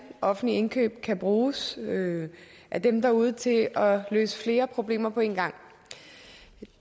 offentlige indkøb kan bruges af dem derude til at løse flere problemer på en gang